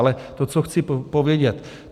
Ale to, co chci povědět.